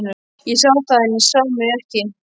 Ég sá það, en hann sá mig ekki.